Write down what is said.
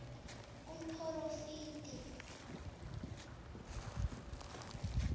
umporofidi